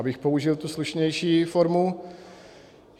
Abych použil tu slušnější fondu.